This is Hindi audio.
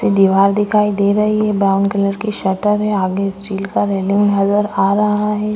दीवार दिखाई दे रही है ब्राउन कलर की शटर है आगे स्टील का रेलिंग नजर आ रहा है।